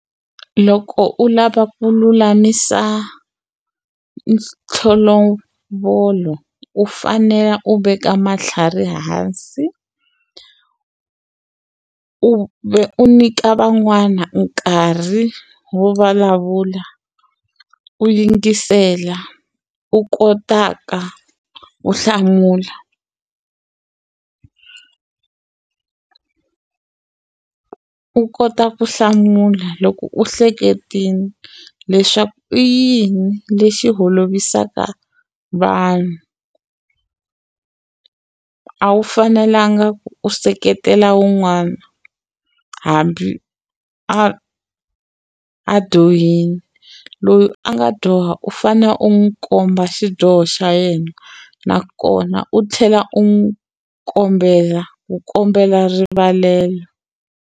Loko u lava ku lulamisa u fanele u veka matlhari hansi u vhe u nyika van'wana nkarhi wo vulavula u yingisela u kotaka ku hlamula u kota ku hlamula loko u hleketeni leswaku i yini lexi holovisaka vanhu a wu fanelanga ku u seketela wun'wana hambi a a dyohini loyi a nga dyoha u fane u n'wi komba xidyoho xa yena nakona u tlhela u n'wu kombela u kombela rivalelo.